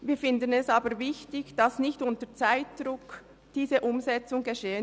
Wir finden es aber wichtig, dass diese Umsetzung nicht unter Zeitdruck geschieht.